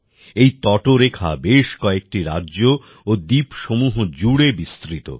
এই তটরেখা বেশ কয়েকটি রাজ্য ও দ্বীপসমূহ জুড়ে বিস্তৃত